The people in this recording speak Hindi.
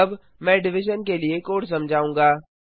अब मैं डिविजन के लिए कोड समझाऊंगा